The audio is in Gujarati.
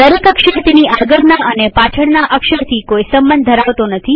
દરેક અક્ષર તેની આગળના અને પાછળના અક્ષરથી કોઈ સંબંધ ધરાવતો નથી